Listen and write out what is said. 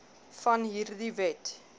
van hierdie wet